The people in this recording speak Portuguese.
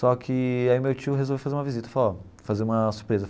Só que aí meu tio resolveu fazer uma visita, falou ó fazer uma surpresa.